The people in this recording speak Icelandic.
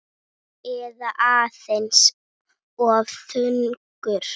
Eða aðeins of þungur?